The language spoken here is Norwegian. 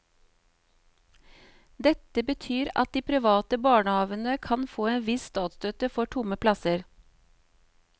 Dette betyr at de private barnehavene kan få en viss statsstøtte for tomme plasser.